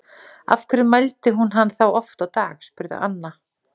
Af hverju mældi hún hann þá oft á dag? spurði Anna.